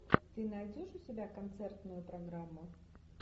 ты найдешь у себя концертную программу